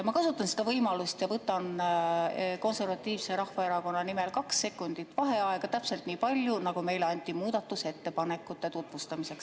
Ma kasutan seda võimalust ja võtan Konservatiivse Rahvaerakonna nimel kaks sekundit vaheaega – täpselt nii palju, nagu meile anti muudatusettepanekute tutvustamiseks.